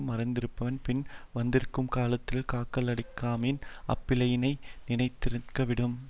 மறந்திருந்தான் பின் வந்துற்றகாலத்துக் காக்கலாகாமையின் அப்பிழைப்பினை நினைதிருங்கிவிடும்